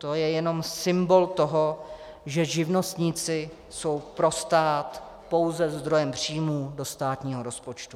To je jenom symbol toho, že živnostníci jsou pro stát pouze zdrojem příjmů do státního rozpočtu.